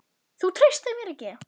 Þú treystir mér ekki!